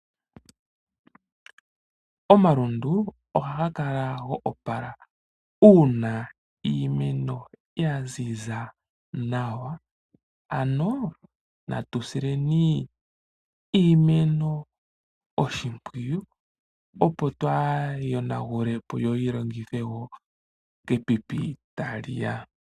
Omalundu ohaga kala go opala uuna iimeno ya ziza nawa ano natusileni iimeno oshimpwiyu opo twaayiyonagule po yo yilongithwe woo kepipi tali ya.